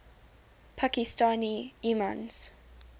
pakistani imams